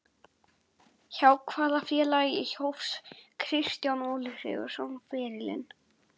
Hjá hvaða félagi hóf Kristján Óli Sigurðsson ferilinn?